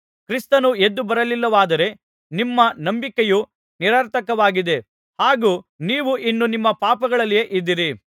ಕ್ರಿಸ್ತನು ಎದ್ದುಬರಲಿಲ್ಲವಾದರೆ ನಿಮ್ಮ ನಂಬಿಕೆಯು ನಿರರ್ಥಕವಾಗಿದೆ ಹಾಗೂ ನೀವು ಇನ್ನೂ ನಿಮ್ಮ ಪಾಪಗಳಲ್ಲಿಯೇ ಇದ್ದೀರಿ